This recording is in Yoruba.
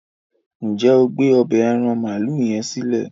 njé o gbé ọbẹ́ aràn maalu yen silẹ?